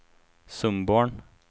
Sundborn